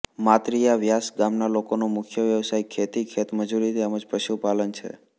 માતરીયા વ્યાસ ગામના લોકોનો મુખ્ય વ્યવસાય ખેતી ખેતમજૂરી તેમ જ પશુપાલન છે